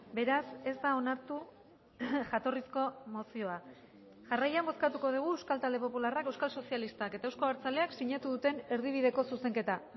beraz ez da onartu jatorrizko mozioa jarraian bozkatuko dugu euskal talde popularrak euskal sozialistak eta euzko abertzaleak sinatu duten erdibideko zuzenketa